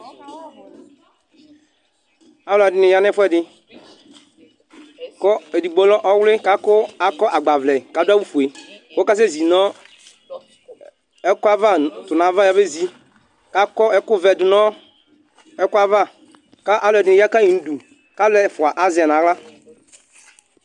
Alu ɛdini ya n'ɛfuɛ di, ku edigbo lɛ ɔwli k'aku akɔ agbaʋlɛ k'adu awu fue, k'ɔka sɛ zi nɔ ɛkɔ ava tu n'ava ya bezi k'akɔ ɛku vɛ du nu ɛkɔ ava ka alu ɛdi ni ya kayi nu du k'alu ɛfua azɛ n'axla